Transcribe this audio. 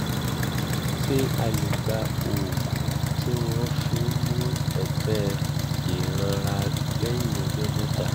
ṣé a lè gba oògùn tí wọ́n fi ń mú ẹ̀tẹ̀ ìranra lẹ́yìn ọjọ́ mẹ́ta?